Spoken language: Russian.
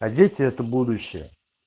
а дети это будущее